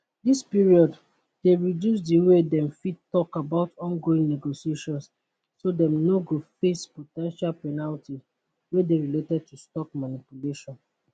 dis period dey reduce di way dem fit tok about ongoing negotiations so dem no go face po ten tial penalties wey dey related to stock manipulation